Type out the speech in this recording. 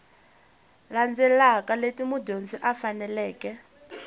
landzelaka leti mudyondzi a faneleke